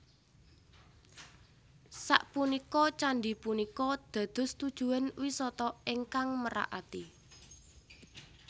Sapunika candhi punika dados tujuwan wisata ingkang merak ati